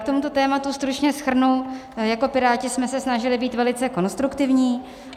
K tomuto tématu stručně shrnu: jako Piráti jsme se snažili být velice konstruktivní.